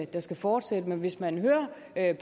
der skal fortsætte men hvis man hører